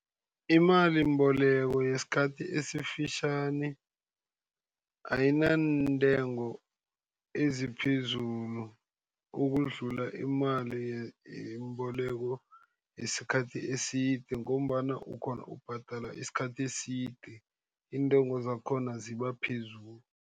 Imalimboleko yesikhathi esifitjhani ayinantengo eziphezulu, ukudlula imalimboleko yesikhathi eside, ngombana ukghona ubhadala isikhathi eside. Iintengo zakhona ziba phezulu.